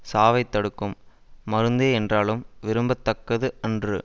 சாவைத் தடுக்கும் மருந்தே என்றாலும் விரும்ப தக்கது அன்று